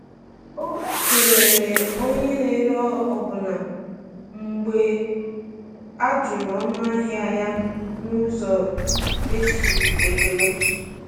O kelere onye na-ere ọbụna mgbe a jụrụ ọnụahịa ya n’ụzọ e ji ekele.